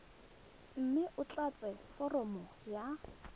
mme o tlatse foromo ya